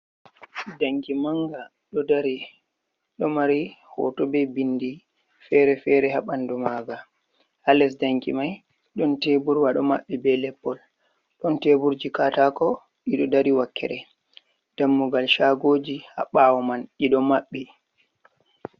Danki manga ɗo mari hoto be bindi ferefere ha bandu maga ha les danki mai ɗon teburwa ɗo maɓɓi be leppol ɗon teburji katako ɗiɗo dari wakkere dammugal shagoji ha bawo man ɗiɗo maɓɓi.